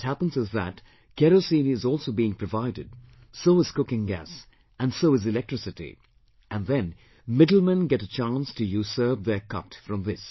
What happens is that Kerosene is also being provided, so is cooking gas and so is electricity and then middlemen get a chance to usurp their cut from this